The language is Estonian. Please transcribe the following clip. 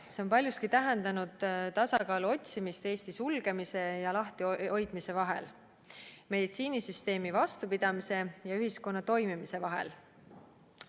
See on paljuski tähendanud tasakaalu otsimist Eesti sulgemise ja lahtihoidmise vahel, meditsiinisüsteemi vastupidamise ja ühiskonna toimimise vahel.